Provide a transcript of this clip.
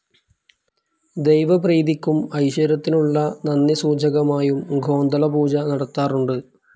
ദൈവപ്രീതിക്കും ഐശ്വര്യത്തിനുള്ള നന്ദി സൂചകമായും ഗോന്തള പൂജ നടത്താറുണ്ട്.